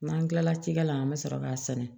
N'an kilala cikɛ la an be sɔrɔ k'a sɛnɛ